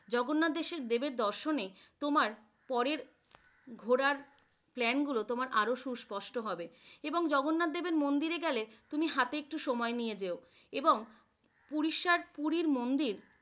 জগন্নাথ দেবের দর্শনে তোমার পরের ঘুরার plan গুলো তোমার আরো সুস্পষ্ট হবে এবং জগন্নাথ দেবের মন্দিরে গেলে তুমি হাতে একটু সময় নিয়ে যেও এবং ওড়িশা পুরী মন্দির।